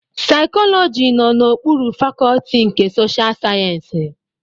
Saikoloji nọ n'okpuru Fakọlti nke Sosha Sayensị.